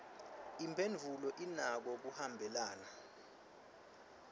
imphendvulo inako kuhambelana